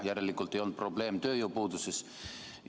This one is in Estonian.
Et järelikult ei ole probleem tööjõupuuduses?